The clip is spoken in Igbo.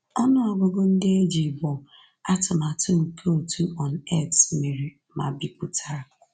Ọnụ ọgụgụ ndị e ji bụ atụmatụ nke òtù UNAIDS mere ma bipụtara.